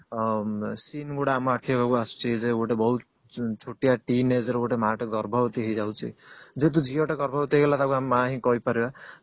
seen ଗୁଡା ଆମ ଆଖି ଆଗକୁ ଆସୁଛି ଯେ ଗୋଟେ ବହୁତ ଛୋଟିଆ teen age ର ଗୋଟେ ମା ଟେ ଗର୍ଭବତୀ ହେଇଯାଉଛି ଯେହେତୁ ଝିଅଟେ ଗର୍ଭବତୀ ହେଇଗଲା ତାକୁ ଆମେ ମା ହିଁ କରି ପାରିବା